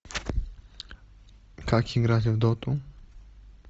как играть в доту